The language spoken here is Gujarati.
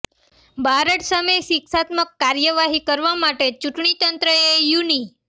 બારડ સામે શિક્ષાત્મક કાર્યવાહી કરવા માટે ચૂંટણી તંત્રએ યુનિ